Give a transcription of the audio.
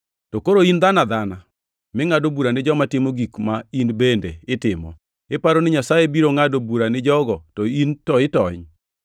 To koro in dhano adhanani mingʼado bura ni joma timo gik ma in bende itimo, iparo ni Nyasaye biro ngʼado bura ni jogo to in to itony?